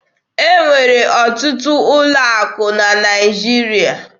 E nwere ọtụtụ ụlọ akụ na Naịjirịa.